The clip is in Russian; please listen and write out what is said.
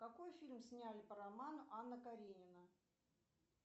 какой фильм сняли по роману анна каренина